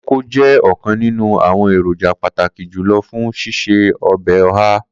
Koko jẹ ọkan ninu awọn eroja pataki julọ fun sise ọbẹ oha.